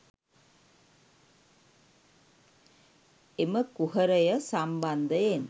එම කුහරය සම්බන්ධයෙන්